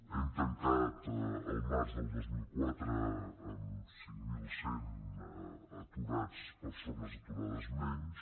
hem tancat el març del dos mil quatre amb cinc mil cent persones aturades menys